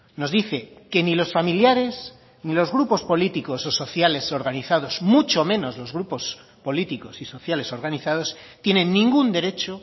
nos dice que ni los familiares ni los grupos políticos o sociales organizados mucho menos los grupos políticos y sociales organizados tienen ningún derecho